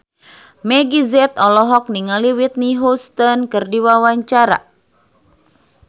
Meggie Z olohok ningali Whitney Houston keur diwawancara